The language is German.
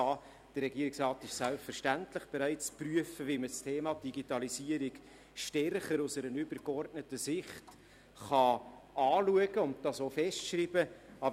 Der Regierungsrat ist selbstverständlich bereit zu prüfen, wie wir die Digitalisierung stärker aus einer übergeordneten Sicht anschauen und dies auch festschreiben können.